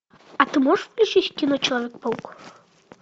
а ты можешь включить кино человек паук